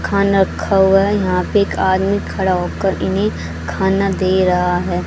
खाना रखा हुआ है यहां पे एक आदमी खड़ा हो कर इन्हें खाना दे रहा है।